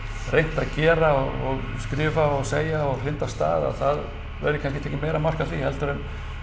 reynt að gera og skrifa og segja og hrinda af stað að það verði kannski tekið meira mark á því heldur en